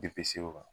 Depi se o kan